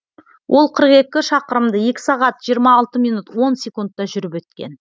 ол қырық екі шақырымды екі сағат жиырма алты минут он секундта жүріп өткен